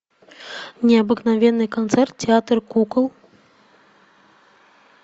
необыкновенный концерт театр кукол